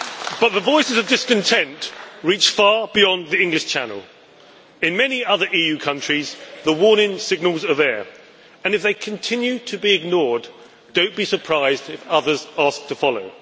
But the voices of discontent reach far beyond the English Channel. In many other EU countries the warning signals are there and, if they continue to be ignored, do not be surprised if others ask to follow.